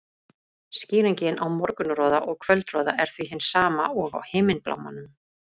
Skýringin á morgunroða og kvöldroða er því hin sama og á himinblámanum.